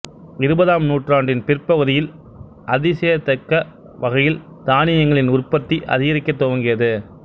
இருபதாம் நூற்றாண்டின் பிற்பகுதியில் அதியசயிக்கத் தக்க வகையில் தானியங்களின் உற்பத்தி அதிகரிக்கத் துவங்கியது